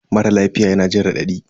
Mara lafiya yana jin raɗadi